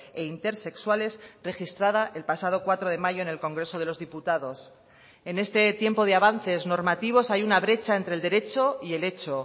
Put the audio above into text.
e intersexuales registrada el pasado cuatro de mayo en el congreso de los diputados en este tiempo de avances normativos hay una brecha entre el derecho y el hecho